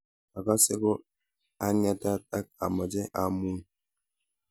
Akase ko ang'etat ak amache amuny